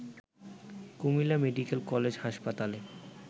Comilla medical college হাসপাতালে